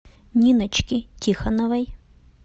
ниночки тихоновой